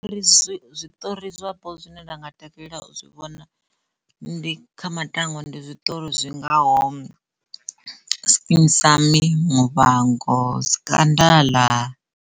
Ri zwiṱori zwapo zwine nda nga takalela zwi vhona ndi kha matangwa ndi zwiṱori zwingaho skeem saam, muvhango, scandal.